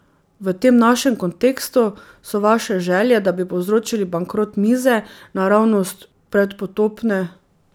V tem našem kontekstu so vaše želje, da bi povzročili bankrot mize, naravnost predpotopne.